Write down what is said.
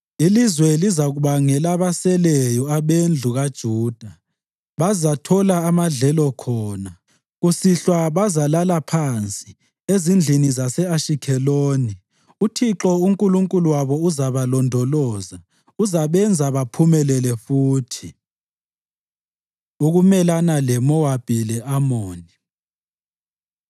Ilizwe lizakuba ngelabaseleyo abendlu kaJuda; bazathola amadlelo khona. Kusihlwa bazalala phansi ezindlini zase-Ashikheloni. UThixo uNkulunkulu wabo uzabalondoloza; uzabenza baphumelele futhi. Ukumelana LeMowabi Le-Amoni